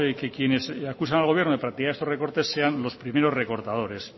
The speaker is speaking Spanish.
que quienes le acusan al gobierno de practicar estos recortes sean los primeros recortadores